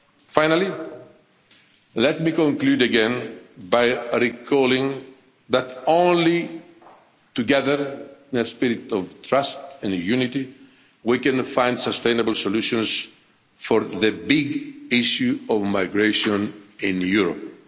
there. Finally, let me conclude again by recalling that only together in a spirit of trust and unity we can find sustainable solutions for the big issue of migration in Europe.